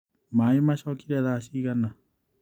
Maĩ macokire thaa cigana?